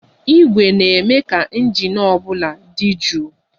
Igwe ọkụ na-eme ka injin ụgbọala di jụụ